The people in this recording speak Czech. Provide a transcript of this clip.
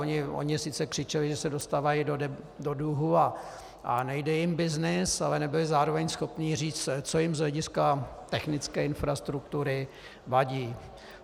Oni sice křičeli, že se dostávají do dluhů a nejde jim byznys, ale nebyli zároveň schopni říct, co jim z hlediska technické infrastruktury vadí.